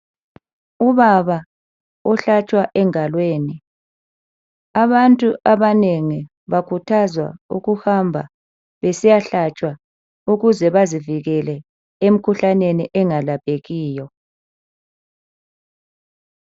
Ubaba ohlatshwa engalweni abantu abanengi bakhuthazwa ukuhamba besiyahlayshwa ukuze bazivikele emikhuhlaneni engalaphekiyo